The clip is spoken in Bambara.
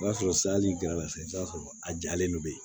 O b'a sɔrɔ sa hali gɛrɛna se a jalen don bilen